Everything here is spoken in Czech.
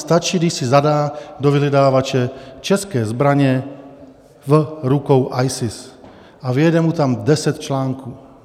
Stačí, když si zadá do vyhledávače: české zbraně v rukou ISIS a vyjede mu tam deset článků.